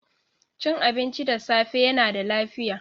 Cin abinci da safe yana da lafiya.